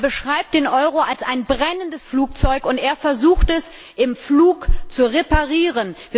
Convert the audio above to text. Er beschreibt den Euro als ein brennendes Flugzeug, und er versucht, es im Flug zu reparieren!